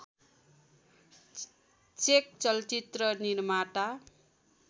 check चलचित्र निर्माता